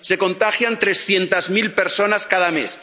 se contagian trescientas mil personas cada mes.